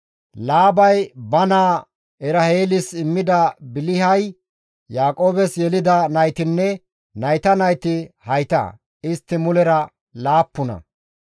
Laabay ba naa Eraheelis immida Bilihay Yaaqoobes yelida naytinne nayta nayti hayta; istti mulera laappuna.